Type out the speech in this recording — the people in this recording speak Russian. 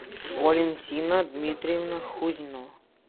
валентина дмитриевна хузьно